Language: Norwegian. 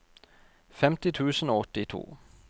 femti tusen og åttito